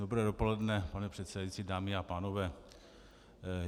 Dobré dopoledne, pane předsedající, dámy a pánové.